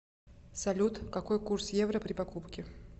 салют какой курс евро при покупке